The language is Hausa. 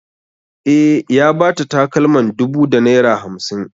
E, ya ba ta takalman dubu da naira hamsin.